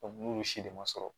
n'olu si de ma sɔrɔ